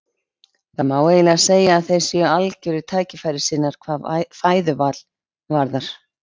Það má eiginlega segja að þeir séu algerir tækifærissinnar hvað fæðuval varðar.